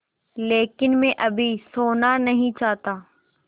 लेकिन मैं अभी सोना नहीं चाहता